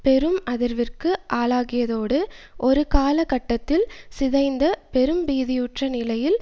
பெரும் அதிர்விற்கு ஆளாகியதோடு ஒரு கால கட்டத்தில் சிதைந்த பெரும்பீதியுற்ற நிலையில்